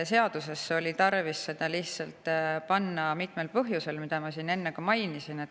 Seadusesse oli tarvis see panna mitmel põhjusel, mida ma siin enne ka mainisin.